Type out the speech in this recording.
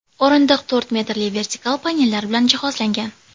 O‘rindiq to‘rt metrli vertikal panellar bilan jihozlangan.